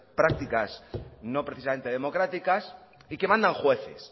prácticas no precisamente democráticas y que mandan jueces